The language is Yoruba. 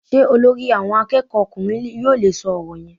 Sé Olórí àwọn akéèkó ọkùnrin yóò le é so òrò yen?